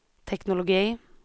teknologi